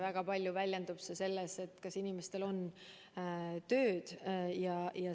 Väga palju väljendub see selles, kas inimestel on tööd.